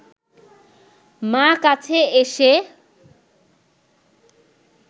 মা কাছে এসে